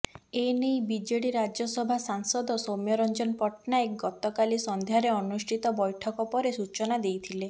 ଏନେଇ ବିଜେଡି ରାଜ୍ୟସଭା ସାଂସଦ ସୌମ୍ୟ ରଞ୍ଜନ ପଟ୍ଟନାୟକ ଗତକାଲି ସନ୍ଧ୍ୟାରେ ଅନୁଷ୍ଠିତ ବୈଠକ ପରେ ସୂଚନା ଦେଇଥିଲେ